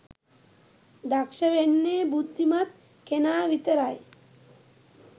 දක්ෂ වෙන්නේ බුද්ධිමත් කෙනා විතරයි.